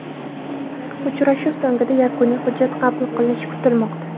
Uchrashuv so‘ngida yakuniy hujjat qabul qilinishi kutilmoqda.